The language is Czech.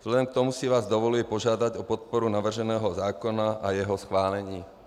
Vzhledem k tomu si vás dovoluji požádat o podporu navrženého zákona a jeho schválení.